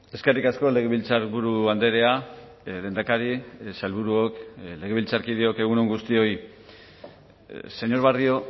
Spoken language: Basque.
eskerrik asko legebiltzarburu andrea lehendakari sailburuok legebiltzarkideok egun on guztioi señor barrio